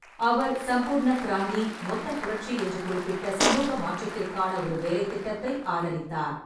அவர் சம்பூர்ண கிராந்தி, "மொத்தப் புரட்சி" என்று குறிப்பிட்ட சமூக மாற்றத்திற்கான ஒரு வேலைத்திட்டத்தை ஆதரித்தார்.